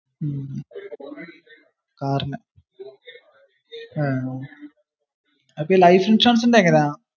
മ്മ്ഹ. അപ്പൊ ഈ ലൈഫ് ഇൻഷുറൻസിന്റെ എങ്ങനാ?